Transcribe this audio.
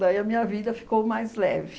Daí a minha vida ficou mais leve.